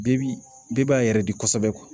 Bɛɛ bi bɛɛ b'a yɛrɛ di kosɛbɛ